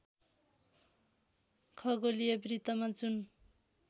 खगोलीय वृत्तमा जुन